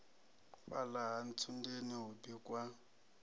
fhala ha ntsundeni hu bikwa